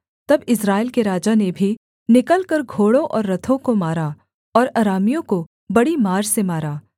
तब इस्राएल के राजा ने भी निकलकर घोड़ों और रथों को मारा और अरामियों को बड़ी मार से मारा